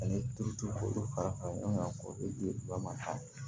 Ale turutulu fara ka di ba ma